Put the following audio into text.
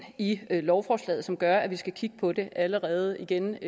i lovforslaget som gør at vi skal kigge på det allerede igen